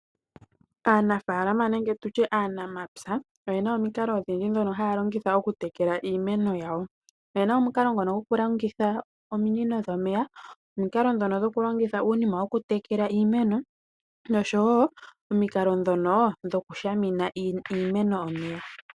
Aanafaalama nenge tutye aanamapya oyena omikalo odhindji ndhono haya longitha oku tekela iimeno yawo. Oyena omukalo ngono goku longitha ominino dhomeya, omukalo ngono goku longitha iinima yoku tekela noshowo omikalo ndhono dhoku shamena iimeno omeya.